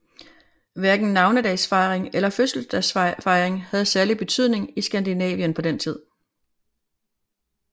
Hverken navnedagsfejring eller fødselsdagsfejring havde særlig betydning i Skandinavien på denne tid